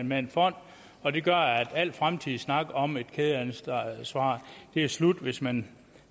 med en fond og det gør at al fremtidig snak om et kædeansvar er slut hvis man